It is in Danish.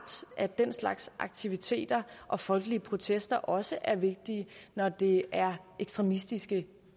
at den slags aktiviteter og folkelige protester også er vigtige når det er ekstremistiske